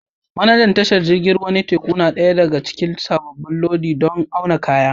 Manajan tashar jiragen ruwa na teku ya nada ɗaya daga cikin sabon lodi don auna kaya